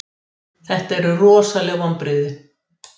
Þetta eru rosaleg vonbrigði.